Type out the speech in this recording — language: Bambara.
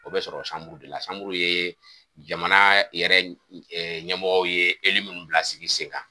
O bɛ sɔrɔ dela ye jamana yɛrɛ ɲɛmɔgɔ ye minnu bila sen kan.